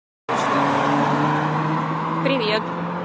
привет